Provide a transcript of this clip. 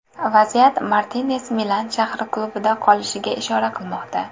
Vaziyat Martines Milan shahri klubida qolishiga ishora qilmoqda.